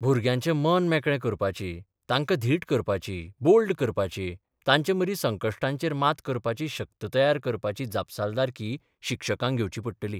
भुरग्याचें मन मेकळें करपाची, तांकां धीट करपाची, बोल्ड करपाची, तांचे मदीं संकश्टांचेर मात करपाची शक्त तयार करपाची जापसालदारकी शिक्षकांक घेवची पडटली.